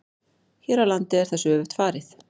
Hér á landi er þessu öfugt farið.